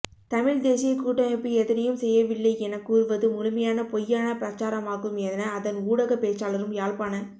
தமிழ்த் தேசியக் கூட்டமைப்பு எதனையும் செய்யவில்லை எனக் கூறுவது முழுமையான பொய்யான பிரசாரமாகும் என அதன் ஊடகப் பேச்சாளரும் யாழ்ப்பாண